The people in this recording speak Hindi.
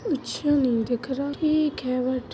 कुछ नहीं दिख रहा ठीक है बट--